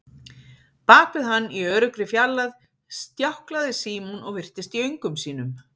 Bak við hann, í öruggri fjarlægð, stjáklaði Símon og virtist í öngum sínum.